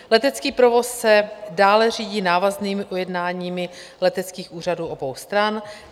Letecký provoz se dále řídí návaznými ujednáními leteckých úřadů obou stran.